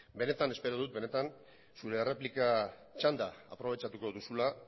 benetan espero dut zure erreplika txanda aprobetxatuko duzula